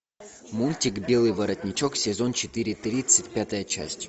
мультик белый воротничок сезон четыре тридцать пятая часть